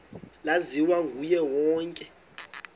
laziwa nguye wonke